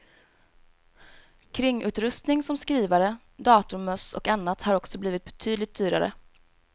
Kringutrustning som skrivare, datormöss och annat har också blivit betydligt dyrare.